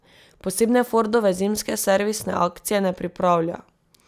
Posebne Fordove zimske servisne akcije ne pripravlja.